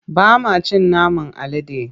Ba ma cin naman alade.